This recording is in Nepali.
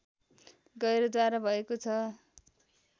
गैह्रेद्वारा भएको छ